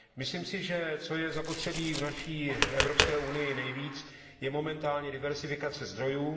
Myslím si, že co je zapotřebí v naší Evropské unii nejvíc, je momentálně diverzifikace zdrojů.